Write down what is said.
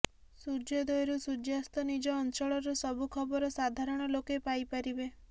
ସୂର୍ଯ୍ୟଦୋୟରୁ ସୂର୍ଯ୍ୟାସ୍ତ ନିଜ ଅଚଂଳର ସବୁ ଖବର ସାଧାରଣ ଲୋକେ ପାଇ ପାରିବେ